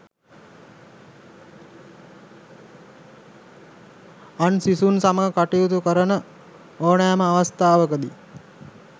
අන් සිසුන් සමග කටයුතු කරන ඕනෑම අවස්ථාවකදී